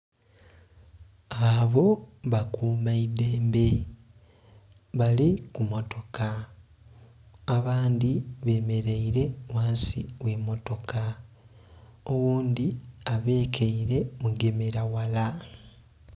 Abo bakuma idhembe bali kumotoka abandhi bemeraire ghansi ogh'emmotoka oghundhi abekaire mugemera ghala.